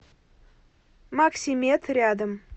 максимед рядом